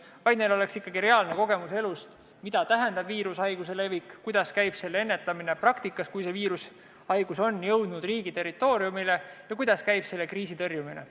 Neil peaks olema ikkagi reaalne kogemus elust enesest, mida tähendab viirushaiguse levik, kuidas käib selle ennetamine praktikas, mida teha siis, kui viirushaigus on riigi territooriumile jõudnud, ja kuidas käib kriisi tõrjumine.